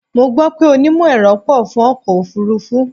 Mo gbó pé onímọ̀-ẹ̀rọ pọ̀ fún ọkọ̀ òfúrúfú.